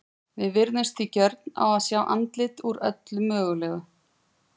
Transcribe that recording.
Við virðumst því gjörn á að sjá andlit út úr öllu mögulegu.